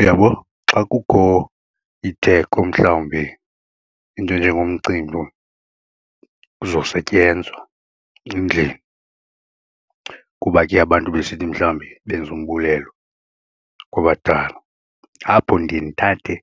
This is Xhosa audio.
Uyabo xa kukho itheko mhlawumbe into enjengomcimbi kuzosetyenzwa endlini kuba ke abantu besithi mhlawumbe benza umbulelo kwabadala, apho ndiye ndithathe